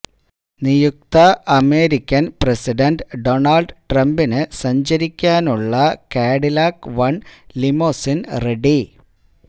നിയുക്ത American president Donald ട്രംപിന് സഞ്ചരിക്കാനുള്ള കാഡിലാക് വണ് ലിമോസിന് റെഡി